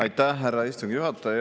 Aitäh, härra istungi juhataja!